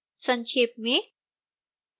संक्षेप में